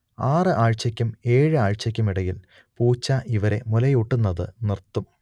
ആറ് ആഴ്ചയ്ക്കും ഏഴ് ആഴ്ചയ്ക്കും ഇടയിൽ പൂച്ച ഇവരെ മുലയൂട്ടുന്നത് നിർത്തും